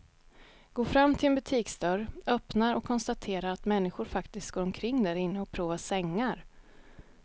Går fram till en butiksdörr, öppnar och konstaterar att människor faktiskt går omkring därinne och provar sängar.